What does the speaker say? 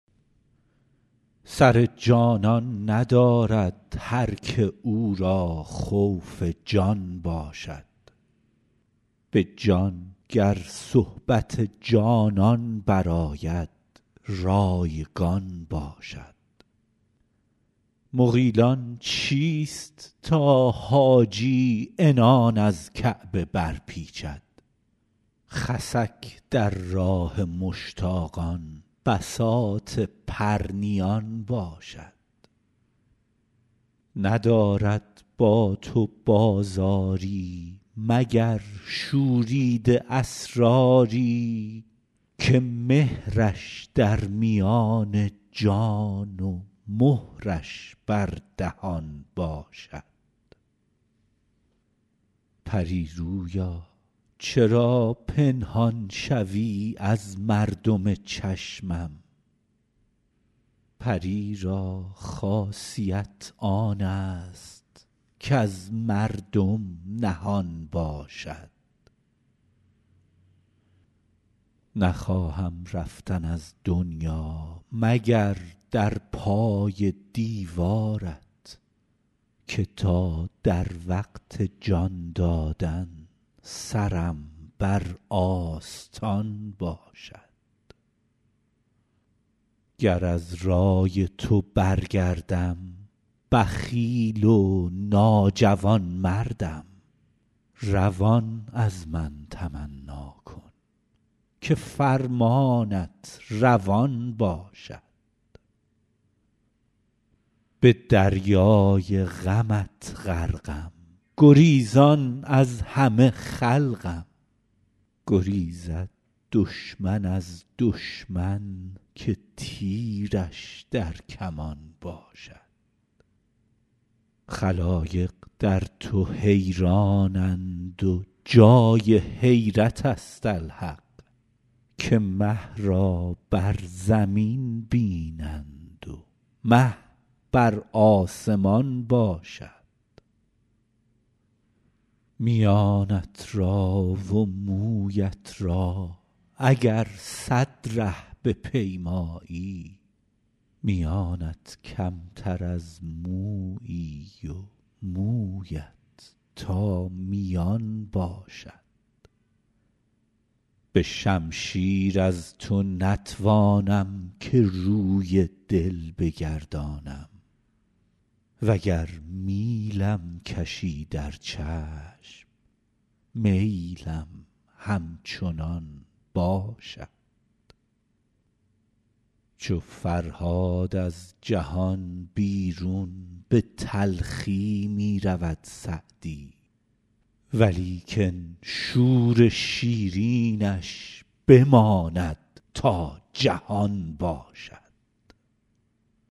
سر جانان ندارد هر که او را خوف جان باشد به جان گر صحبت جانان برآید رایگان باشد مغیلان چیست تا حاجی عنان از کعبه برپیچد خسک در راه مشتاقان بساط پرنیان باشد ندارد با تو بازاری مگر شوریده اسراری که مهرش در میان جان و مهرش بر دهان باشد پری رویا چرا پنهان شوی از مردم چشمم پری را خاصیت آن است کز مردم نهان باشد نخواهم رفتن از دنیا مگر در پای دیوارت که تا در وقت جان دادن سرم بر آستان باشد گر از رای تو برگردم بخیل و ناجوانمردم روان از من تمنا کن که فرمانت روان باشد به دریای غمت غرقم گریزان از همه خلقم گریزد دشمن از دشمن که تیرش در کمان باشد خلایق در تو حیرانند و جای حیرت است الحق که مه را بر زمین بینند و مه بر آسمان باشد میانت را و مویت را اگر صد ره بپیمایی میانت کمتر از مویی و مویت تا میان باشد به شمشیر از تو نتوانم که روی دل بگردانم و گر میلم کشی در چشم میلم همچنان باشد چو فرهاد از جهان بیرون به تلخی می رود سعدی ولیکن شور شیرینش بماند تا جهان باشد